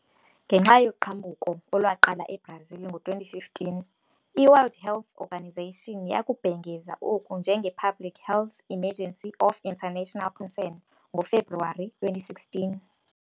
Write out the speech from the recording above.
Ngenxa yoqhambuko olwaqala eBrazil ngo-2015, i-World Health Organization yakubhengeza oku njenge-Public Health Emergency of International Concern ngoFebruwari 2016.